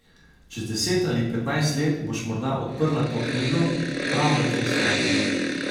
Čez deset ali petnajst let boš morda odprla to knjigo, prav na tej strani.